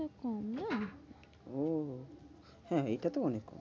আহ হ্যাঁ এটা তো অনেক কম।